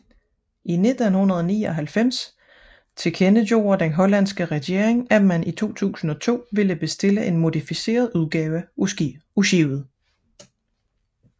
I 1999 tilkendegjorde den hollandske regering at man i 2002 ville bestille en modificeret udgave af skibet